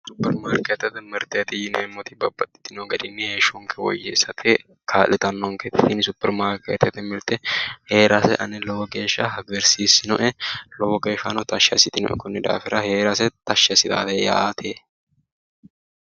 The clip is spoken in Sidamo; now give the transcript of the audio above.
Supperimaarkeettete mirteeti yineemmoti babbaxxitino garinni heeshshonke woyeessate kaa'litannonkete. Kuni supperimaarkeettete mirte heerase ane lowo geeshsha hagiirsiisinoe. Lowe geeshshano tashshi assitinoe. Konni daafira heerase tashshi assitaate yaate.